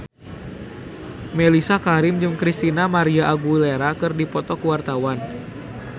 Mellisa Karim jeung Christina María Aguilera keur dipoto ku wartawan